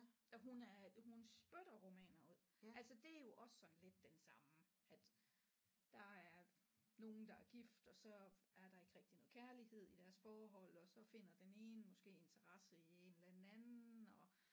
Ja hun er hun spytter romaner ud altså det er jo også sådan lidt den samme at der er nogle der er gift og så er der ikke rigtig noget kærlighed i deres forhold og så finder den ene måske interesse i en eller anden anden og